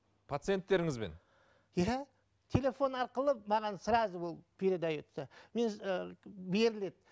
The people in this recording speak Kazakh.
пациенттеріңізбен иә телефон арқылы маған сразу ол передается мен ы беріледі